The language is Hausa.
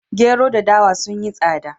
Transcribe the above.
Gero da dawa sun yi tsada